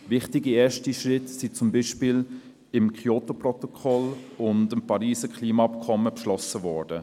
Wichtige erste Schritte sind zum Beispiel mit dem Kyoto-Protokoll und dem Pariser Klimaabkommen beschlossen worden.